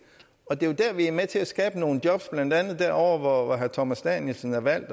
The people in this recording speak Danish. og det er jo der vi er med til at skabe nogle job blandt andet herre thomas danielsen er valgt